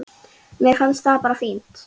Mér finnst það bara fínt.